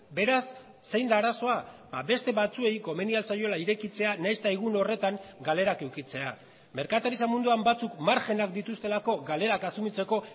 beraz zein da arazoa beste batzuei komeni ahal zaiola irekitzea nahiz eta egun horretan galerak edukitzea merkataritza munduan batzuk margenak dituztelako galerak asumitzeko